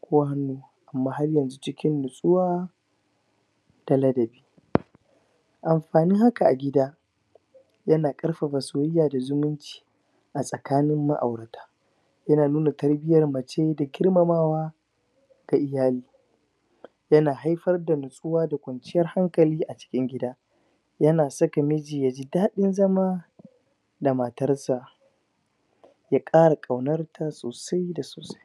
Ko hannu Kuma haryanzu cikin natsuwa Da ladabi Amfanin haka a gida Yana ƙarfafa soyayya da zumunci A tsakanin ma'aureta Yana nuna tarbiyar mace da girmamawa Ga iyaye Yana haifar da natsuwa da kwanciyar hankali a cikin gida Yana saka miji yaji dadin zama Ma matarsa Ya kara kwaunarta sosai da sosai